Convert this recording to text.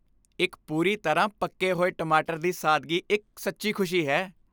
ਇੱਕ ਪੂਰੀ ਤਰ੍ਹਾਂ ਪੱਕੇ ਹੋਏ ਟਮਾਟਰ ਦੀ ਸਾਦਗੀ ਇੱਕ ਸੱਚੀ ਖੁਸ਼ੀ ਹੈ।